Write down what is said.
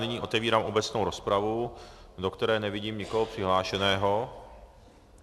Nyní otevírám obecnou rozpravu, do které nevidím nikoho přihlášeného.